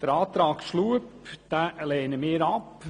Den Antrag Schlup lehnen wir ab.